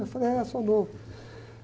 Eu falei, é, sou novo.